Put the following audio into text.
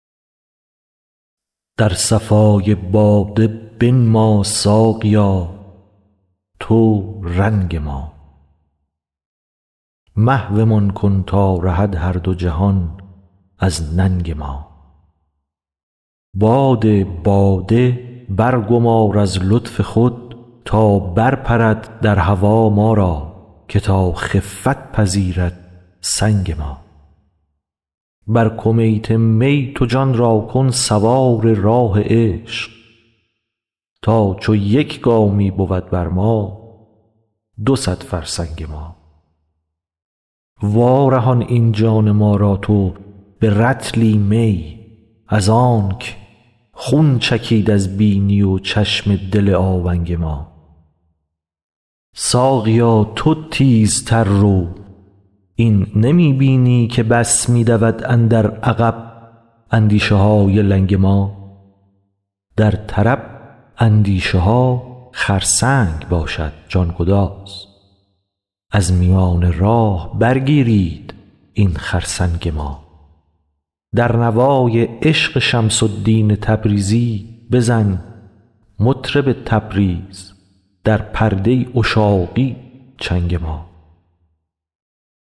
در صفای باده بنما ساقیا تو رنگ ما محومان کن تا رهد هر دو جهان از ننگ ما باد باده برگمار از لطف خود تا برپرد در هوا ما را که تا خفت پذیرد سنگ ما بر کمیت می تو جان را کن سوار راه عشق تا چو یک گامی بود بر ما دو صد فرسنگ ما وارهان این جان ما را تو به رطلی می از آنک خون چکید از بینی و چشم دل آونگ ما ساقیا تو تیزتر رو این نمی بینی که بس می دود اندر عقب اندیشه های لنگ ما در طرب اندیشه ها خرسنگ باشد جان گداز از میان راه برگیرید این خرسنگ ما در نوای عشق شمس الدین تبریزی بزن مطرب تبریز در پرده عشاقی چنگ ما